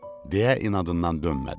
deyə inadından dönmədi.